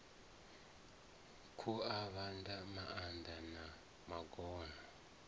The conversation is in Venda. khu avhavha mahaḓa na magona